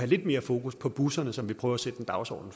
lidt mere fokus på busserne som vi prøver at sætte en dagsorden